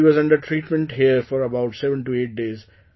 She was under treatment here for about 78 days